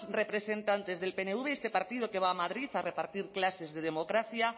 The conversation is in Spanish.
representantes del pnv y este partido que va a madrid a repartir clases de democracia